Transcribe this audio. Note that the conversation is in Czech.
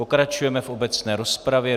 Pokračujeme v obecné rozpravě.